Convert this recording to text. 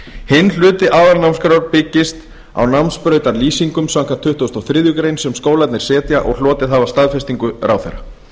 hinn hluti aðalnámskrár byggist á námsbrautarlýsingum samkvæmt tuttugustu og þriðju grein sem skólarnir setja og hlotið hafa staðfestingu ráðherra